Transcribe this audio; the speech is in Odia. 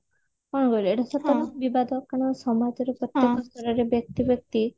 କଣ କରିଆ ଏଇଟା ସତ ବିବାଦ କାରଣ ସମାଜରେ କେତେକ ସ୍ତରରେ ବ୍ୟକ୍ତି ବ୍ୟକ୍ତି